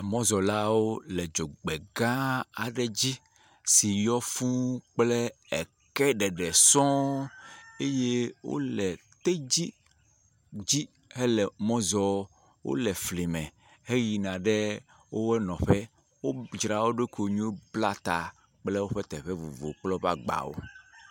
Mɔzɔlawo le dzogbegã aɖe dzi si yɔ fũuu kple eke ɖeɖe sɔŋ eye wole tedzi dzi hele mɔ zɔɔ. Wole flime heyina ɖe wo nɔƒe. wodzra wo ɖokui nyo bla ta kple woƒe teƒe vovo kple agbawo.